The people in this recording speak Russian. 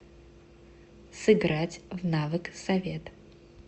сыграть в навык совет